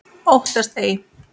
Óttast ei.